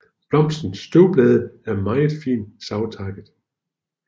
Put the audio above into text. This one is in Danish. Blomstens støtteblad er meget fint savtakket